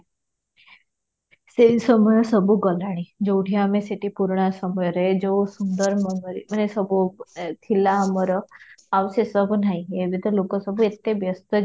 ସେଇ ସମୟ ସବୁ ଗଲାଣି ଯଉଠି ଆମେ ସେଇଠି ପୁରୁଣା ସମୟରେ ଯଉ ସୁନ୍ଦର ମନରେ ମାନେ ଯାଉ ସବୁ ଏ ଥିଲା ଆମର ଆଉ ସେ ସବୁ ନାହିଁ, ଏବେ ତ ଲୋକ ସବୁ ଏତେ ବ୍ୟସ୍ତ ଯେ